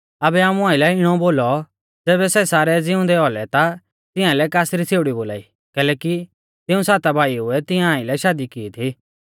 आबै आमु आइलै इणौ बोलौ ज़ैबै सै सारै ज़िउंदै औलै ता तिंया लै कासरी छ़ेउड़ी बोलाई कैलैकि तिऊं साता भाईऊ ऐ तिंया आइलै शादी की थी